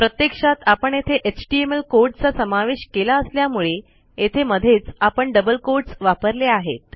प्रत्यक्षात आपण येथे एचटीएमएल कोड चा समावेश केला असल्यामुळे येथे मध्येच आपण डबल quotesवापरले आहेत